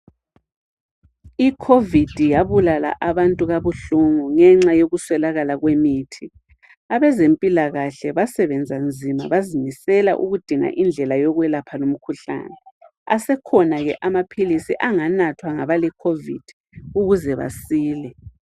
Icovid yabulala abantu kabuhlungu nge nxa yokuswelakala kwemithi abezempilakahle basebenza nzima baze bazimisela ukudinga indlela yokwelapha lomkhuhlane asekhona ke amaphilizi anganathwa ngabale covid ukuze basile